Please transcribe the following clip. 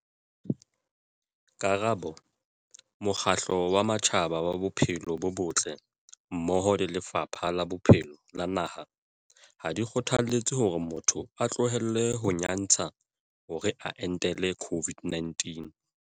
Karabo- Mokgatlo wa Matjhaba wa Bophelo bo Botle mmoho le Lefapha la Bophelo la naha ha di kgothaletse hore motho a tlohele ho nyantsha hore a entele COVID-19.